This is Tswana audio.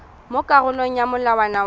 mo karolong ya molawana wa